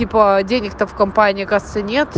типо денег-то в компании оказывается нет